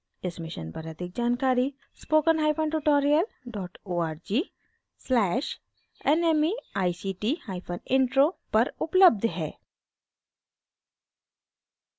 इस mission पर अधिक जानकारी spokentutorial org/nmeictintro पर उपलब्ध है